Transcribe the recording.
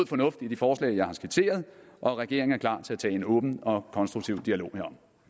fornuft i de forslag jeg har skitseret og at regeringen er klar til at tage en åben og konstruktiv dialog herom